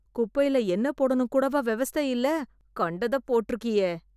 குப்பைல என்ன போடணும் கூடவா வெவஸ்த இல்ல. கண்டத போட்ருக்கியே.